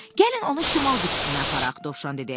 Gəlin onu şimal qütbünə aparaq, Dovşan dedi.